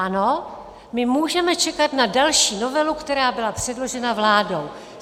Ano, my můžeme čekat na další novelu, která byla předložena vládou.